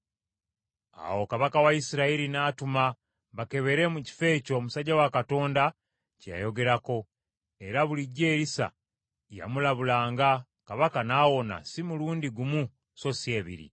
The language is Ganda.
Awo kabaka wa Isirayiri n’atuma bakebere mu kifo ekyo omusajja wa Katonda kye yayogerako. Era bulijjo Erisa yamulabulanga, kabaka n’awona si mulundi gumu so si ebiri.